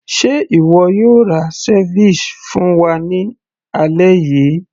ṣe ìwọ yóò ra ceviche fún wa ní alẹ́ yìí